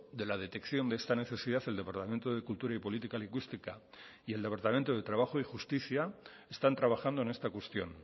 de la detección de esta necesidad el departamento de cultura y política lingüística y el departamento de trabajo y justicia están trabajando en esta cuestión